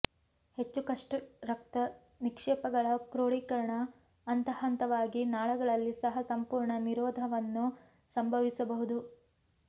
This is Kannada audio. ಹೆಚ್ಚು ಕಷ್ಟ ರಕ್ತ ನಿಕ್ಷೇಪಗಳ ಕ್ರೋಢೀಕರಣ ಹಂತಹಂತವಾಗಿ ನಾಳಗಳಲ್ಲಿ ಸಹ ಸಂಪೂರ್ಣ ನಿರೋಧವನ್ನು ಸಂಭವಿಸಬಹುದು